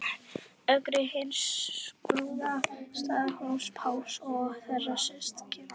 Ögri hins prúða, Staðarhóls-Páls og þeirra systkina.